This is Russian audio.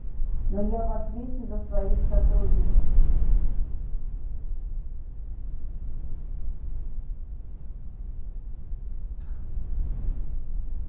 но я в ответе за своих сотрудников